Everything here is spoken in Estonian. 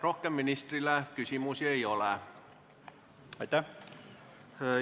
Rohkem ministrile küsimusi ei ole.